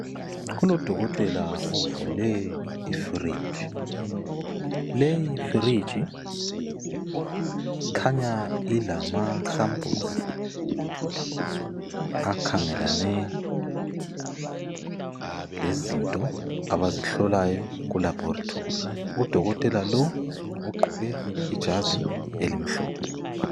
Kulodokotela ovule ifuriji, leyi furiji ikhanya ilamasampuluzi akhangelane lezinto abazihlolayo ku labhorithori, Udokotela lo ugqoke ijazi elimhlophe